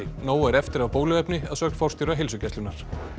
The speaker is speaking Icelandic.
nóg er eftir af bóluefni segir forstjóri Heilsugæslunnar